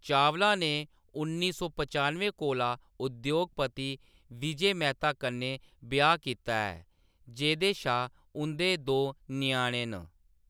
चावला ने उन्नी सौ पचानुए कोला उद्योगपति विजय मेहता कन्नै ब्याह्‌‌ कीता ऐ, जेह्‌‌‌दे शा उंʼदे दो ञ्याणे न।